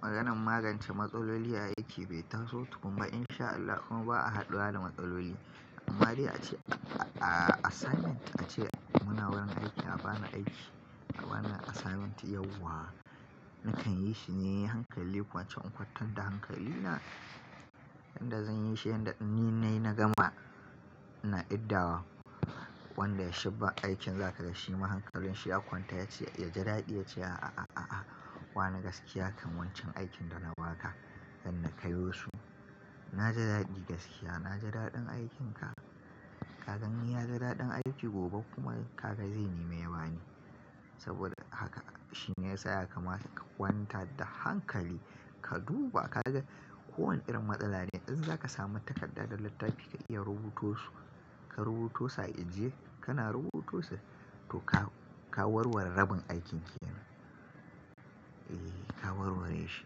Maganan magance matsaloli a aiki bai taso tukun ba in sha Allah kuma ba a haɗuwa da matsaloli. Amma dai ace assignment ace muna wurin aiki a bani aiki a bani assignment yau wa. Nakan yi shine hankali kwance in kwantar da hankali na yanda zan yi shi yanda ni na gama na idawa wanda shi ba aikin za ka ga shima hankalin shi ya kwanta ya ce ya ji daɗi ya ce, a a a a wa ne gaskiya kan wancan aikin da na ba ka zan na kai wa su. Na ji daɗi gaskiya na ji daɗin aikin ka. Ka gani ya ji daɗin aiki gobe kuma kaka zai neme ya bani. Saboda haka shine ya sa ya kamata ka kwanta da hankali ka duba ka ga kowane irin matsala ne idan za ka samu takarda da littafi ka iya rubuto su ka rubuto sa ije. Kana rubuto su toh ka warware rabin aikin kenan. Eh ka warware shi.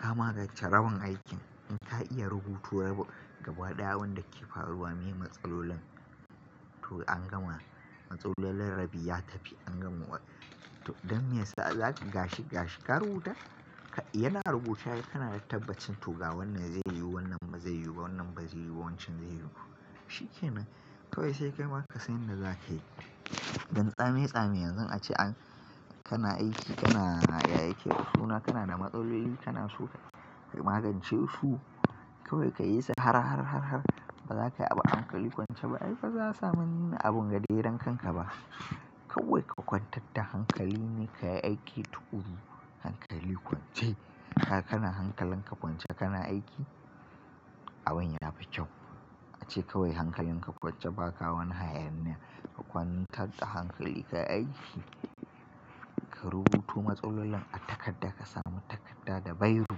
Ka magance rabin aikin in ka iya rubuto rabi gaba ɗaya abunda ke faruwa me matsalolin to an gama matsalolin rabi ya tafi an gama wani. Don meyasa? Gashi ga shi ka rubuta yana rubuce ai kana da tabbacin to ga wannan zai yiwu wannan ba zai yiwu wannan ba zai yiwu ba wancan zai yiwu. Shi ke nan kawai sai kaima kasan yanda za kai. Dan tsame tsame yanzu ace an kana aiki kana ya aike su na kana na matsaloli kana so ka magance su kawai ka yi sa har har har har ba za ka yi abu a hankali kwance ba ai ba za a sami abun gaderan kanka ba. Kawai ka kwantar da hankali ne ka yi aiki tuƙuru. Hankali kwance haka kana hankalin ka kwance kana aiki abun yafi kyau. A ce kawai hankali ka kwance baka wani hayaniya ka kwantar da hankali kayi aiki ka rubuto matsaloli a takada kasamu takada da biro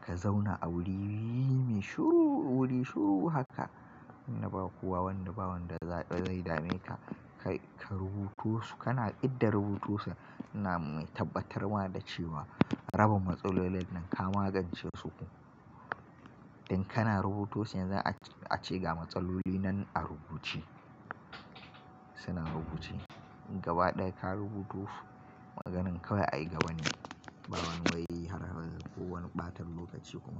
ka zauna a wuri mai shiru wuri shiru haka. Inda bawa kowa wanda bawan da zai dame ka. Ka rubuto su kana idda rubuto su ina mai tabbatarwa da cewa rabin matsalolin nan ka magance su. Dan kana rubuto shi yanzu ace ga matsaloli nan a rubuce. Suna rubuce gaba ɗaya ka rubuto su maganan kawai a yi gaba ne. Ba wani wai har har ko wani ɓata lokaci kuma.